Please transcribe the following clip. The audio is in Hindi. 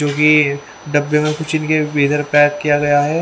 क्योकि डब्बे में कुछ इनकी पेक किया गया हैं।